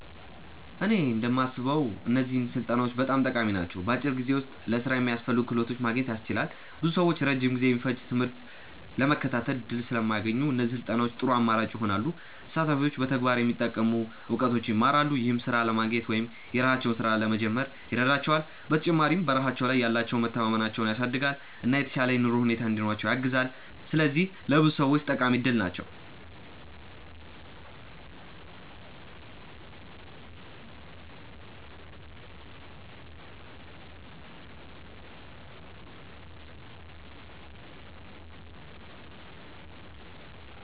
እኔ እንደማስበው እነዚህ ስልጠናዎች በጣም ጠቃሚ ናቸው። በአጭር ጊዜ ውስጥ ለሥራ የሚያስፈልጉ ክህሎቶችን ማግኘት ያስችላሉ። ብዙ ሰዎች ረጅም ጊዜ የሚፈጅ ትምህርት ለመከታተል እድል ስለማያገኙ፣ እነዚህ ስልጠናዎች ጥሩ አማራጭ ይሆናሉ። ተሳታፊዎች በተግባር የሚጠቅሙ እውቀቶችን ይማራሉ፣ ይህም ሥራ ለማግኘት ወይም የራሳቸውን ሥራ ለመጀመር ይረዳቸዋል። በተጨማሪም በራሳቸው ላይ ያላቸውን መተማመን ያሳድጋሉ፣ እና የተሻለ የኑሮ ሁኔታ እንዲኖራቸው ያግዛሉ። ስለዚህ ለብዙ ሰዎች ጠቃሚ እድል ናቸው።